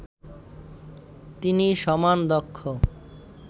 তিনি সমান দক্ষ